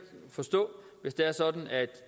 forstå hvis det er sådan at